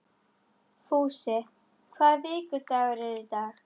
Fúsi, hvaða vikudagur er í dag?